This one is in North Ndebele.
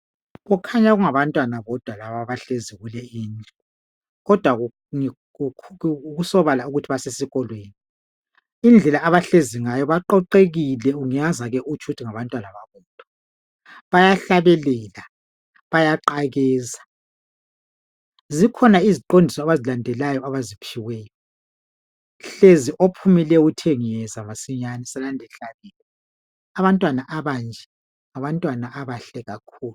kukhanya kungabantwana bodwa abahlezi kuleyi indlu kodwa kusobala ukuthi basesikolweni indlela abahlezi ngayo baqoqekile ngezake utsho ukuthi ngabantwana babodwa bayahlabelela bayaqakeza zikhona iziqondiso abazilandelayo ophumileyo uthe ngiyezamasinyane abantwana abanje ngabantwana abahle kakhulu